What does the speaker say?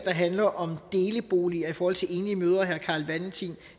handler om deleboliger i forhold til enlige mødre herre carl valentin